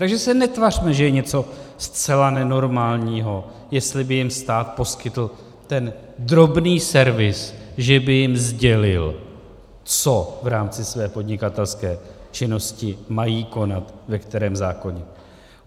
Takže se netvařme, že je něco zcela nenormálního, jestli by jim stát poskytl ten drobný servis, že by jim sdělil, co v rámci své podnikatelské činnosti mají konat, ve kterém zákoně.